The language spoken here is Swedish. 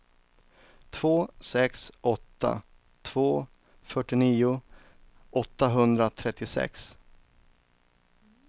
två sex åtta två fyrtionio åttahundratrettiosex